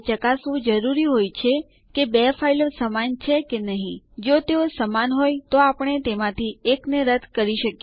તે માઉન્ટ થયેલ જગ્યા પણ માનવ વાંચનીય બંધારણમાં બતાવે છે